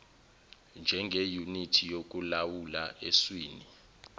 njengeyunithi yokulawula eswini